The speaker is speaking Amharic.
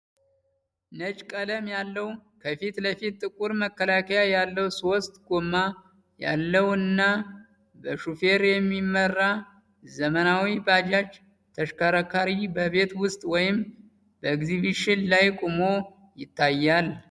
ነጭ ቀለም ያለው፣ ከፊት ለፊት ጥቁር መከላከያ ያለው፣ ሶስት ጎማ ያለው እና በሾፌር የሚመራ የዘመናዊ ባጃጅ ተሽከርካሪ በቤት ውስጥ ወይም ኤግዚቢሽን ላይ ቆሞ ይታያል።